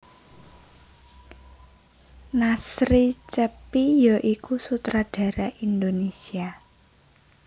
Nasri Cheppy ya iku sutradara Indonesia